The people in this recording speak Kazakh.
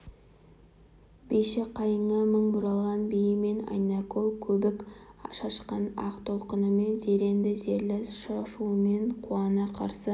биші қайыңы мың бұралған биімен айнакөл көбік шашқан ақ толқынымен зеренді зерлі шашуымен қуана қарсы